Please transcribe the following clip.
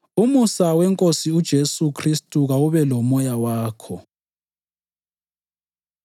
Umusa weNkosi uJesu Khristu kawube lomoya wakho.